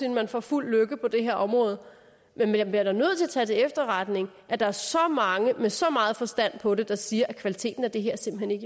at man får fuld lykke på det her område men man bliver da nødt til at tage til efterretning at der er så mange med så meget forstand på det der siger at kvaliteten af det her simpelt